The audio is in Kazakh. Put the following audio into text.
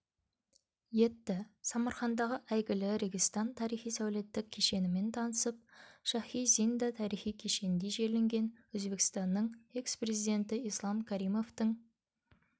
етті самарқандағы әйгілі регистан тарихи-сәулеттік кешенімен танысып шахи-зинда тарихи кешенінде жерленген өзбекстанның экс-президенті ислам каримовтың